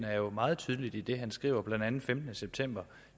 er jo meget tydelig i det han skriver blandt andet den femtende september